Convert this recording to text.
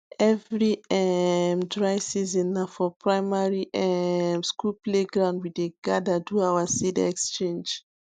every um dry season na for primary um school playground we dey gather do our seed exchange